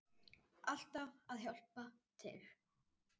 Alltaf að hjálpa til.